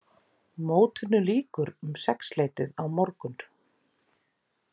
Mótinu lýkur um sexleytið á morgun